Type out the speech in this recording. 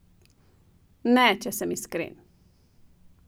Ne, če sem iskren.